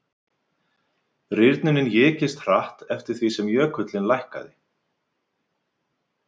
Rýrnunin ykist hratt eftir því sem jökullinn lækkaði.